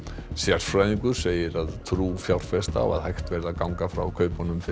sérfræðingur segir að trú fjárfesta á að hægt verði að ganga frá kaupunum fyrir